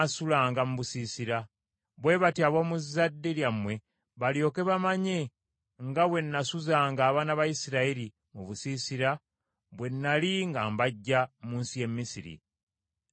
bwe batyo ab’omu zzadde lyammwe balyoke bamanye nga bwe nasuzanga abaana ba Isirayiri mu busiisira bwe nnali nga mbaggya mu nsi y’e Misiri. Nze Mukama Katonda wammwe.”